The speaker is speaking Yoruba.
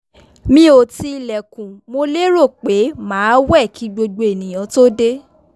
mi ò ti ilẹ̀kùn mo lérò pé máa wẹ̀ kí gbogbo ènìyàn tó dé